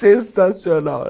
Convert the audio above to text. Sensacional.